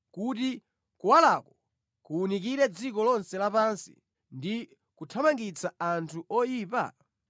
kuti kuwalako kuwunikire dziko lonse lapansi ndi kuthamangitsa anthu oyipa?